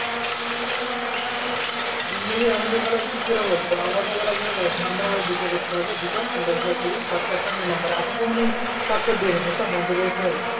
ইংরেজী আমাদের বেলায় কি ছিলো বলতো আমাদের বেলায় দশ নাম্বারে দু টো করতে হবে দুটো দশ দশ কুড়ি short দু নাম্বারে আঠারোতে মানে short করে দিয়েছে সব